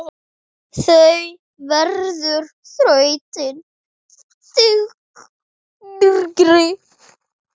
Það verður þrautin þyngri.